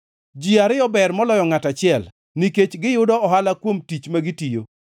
Ji ariyo ber moloyo ngʼato achiel nikech giyudo ohala kuom tich ma gitiyo.